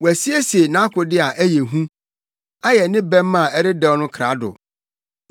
Wasiesie nʼakode a ɛyɛ hu; ayɛ ne bɛmma a ɛredɛw no krado.